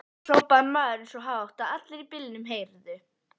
hrópaði maðurinn svo hátt að allir í bílnum heyrðu.